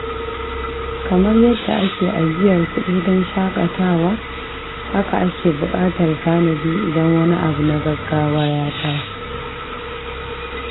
Kamar yadda ake ajiyar kudi don shakatawa, haka ake bukatar tanadi idan wani abu na gaggawa ya taso.